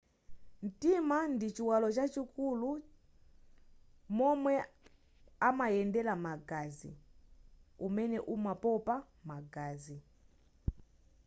mtima ndi chiwalo chachikulu cha momwe amayendera magazi umene umapopa magazi